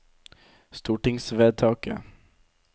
stortingsvedtaket